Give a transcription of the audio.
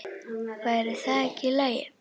Væri það ekki í lagi?